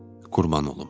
Qurban olum.